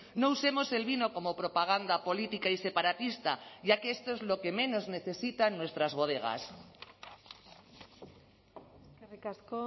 no usemos el vino como propaganda política y separatista ya que esto es lo que menos necesitan nuestras bodegas eskerrik asko